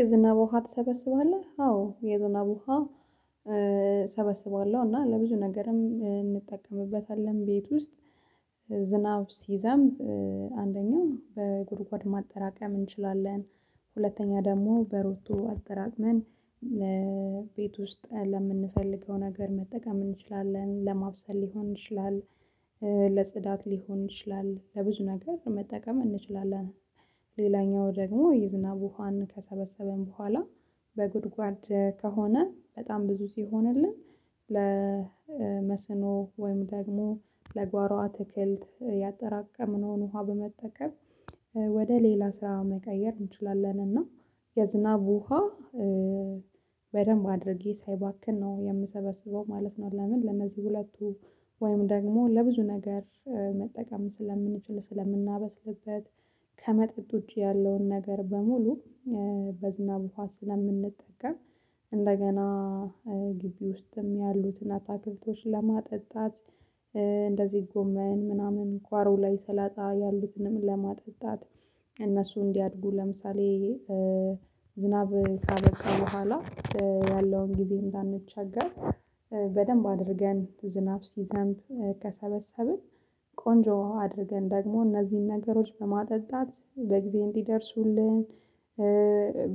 የዝናብ ውሃ ትሰበስባለህ? አዎ የዝናብ ውሃ እሰበስባለሁ እና ለብዙ ነገርም እንጠቀምበታለን ቤት ውስጥ ዝናብ ሲዘምብ አንደኛው በጉድጓድ ማጠራቀም እንችላለን ሁለተኛ ደግሞ በሮቶ አጠራቅመን ቤት ውስጥ ለምንፈልገው ነገር መጠቀም እንችላለን ለማብሰል ሊሆን ይችላል ለጽዳት ሊሆን ይችላል ለብዙ ነገር መጠቀም እንችላለን ሌላኛው ደግሞ የዝናብ ውሃን ከሰበሰበን በኋላ በጉድጓድ ከሆነ በጣም ብዙ ሲሆንልን ለመስኖ ወይም ደግሞ ለጓሮ አትክልት ያጠራቀምነውን ውሃ በመጠቀም ወደ ሌላ ስራ መቀየር እንችላለን እና የዝናብ ውሃ በደንብ አድርጌ ሳይባክን ነው የምሰበስበው ማለት ነው ለምን ለነዚህ ሁለቱ ወይም ደግሞ ለብዙ ነገር መጠቀም ስለምንችል ስለምናበስልበት ከመጠጥ ውጪ ያለውን ነገር በሙሉ በዝናብ ውሃ ስለምንጠቀም እንደገና ግቢ ውስጥም ያሉትን አታክልቶች ለማጠጣት እንደዚህ ጎመን ምናምን ጓሮ ላይ ሰላጣ ያሉትንም ለማጠጣት እነሱ እንዲያድጉ ለምሳሌ ዝናብ ካበቃ በኋላ ያለውን ጊዜ እንዳንቸገር በደንብ አድርገን ዝናብ ሲዘምብ ከሰበሰብን ቆንጆ አድርገን ደግሞ እነዚህን ነገሮች በማጠጣት በጊዜ እንዲደርሱልን